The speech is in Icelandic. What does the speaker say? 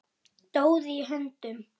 Doði í höndum